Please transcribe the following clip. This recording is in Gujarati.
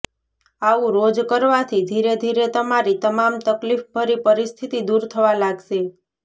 આવું રોજ કરવાથી ધીરે ધીરે તમારી તમામ તકલીફભરી પરિસ્થિતિ દૂર થવા લાગશે